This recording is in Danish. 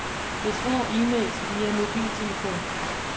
Besvar e-mails via mobiltelefon.